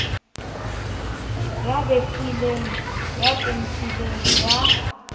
ya betlileng ya pentileng ya